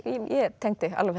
tengdi alveg